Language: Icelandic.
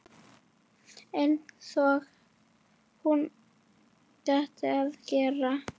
Einsog hún átti að gera.